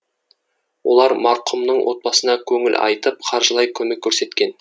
олар марқұмның отбасына көңіл айтып қаржылай көмек көрсеткен